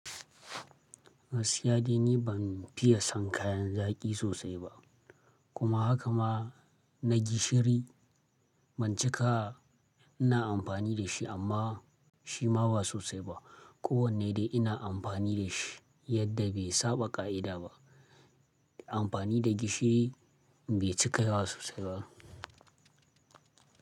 Gaskiya dai ni ban fiye san kayan zaƙi sosai ba. Kuma haka ma na gishiri ban cika ina amfani da shi amma shi ma ba sosai ba. Ko wanne dai ina amfani da shi yadda bai saba ƙa'ida ba. Amfani da gishiri bai cika sosai ba.